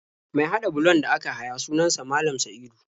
Mai haɗa bulon da aka haya sunan sa Malam Sa'idu.